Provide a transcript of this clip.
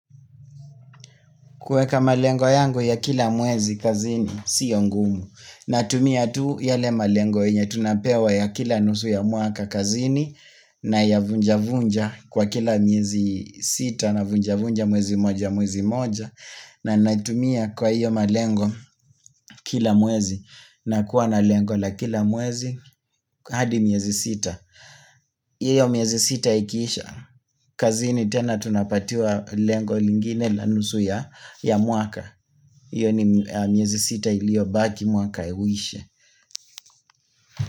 Kuweka malengo yangu ya kila mwezi kazini, sio ngumu. Natumia tu yale malengo yenye tunapewa ya kila nusu ya mwaka kazini na ya vunja vunja kwa kila miezi sita na vunja vunja mwezi moja mwezi moja na natumia kwa iyo malengo kila mwezi na kuwa na lengo la kila mwezi hadi miezi sita. Iyo miezi sita ikiisha. Kazini tena tunapatiwa lengo lingine la nusu ya ya mwaka. Iyo ni miezi sita iliobaki mwaka uishe.